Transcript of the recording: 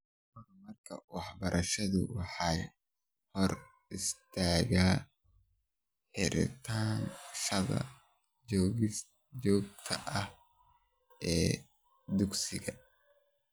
Horumarka waxbarashada waxaa hor istaaga xirnaanshaha joogtada ah ee dugsiga.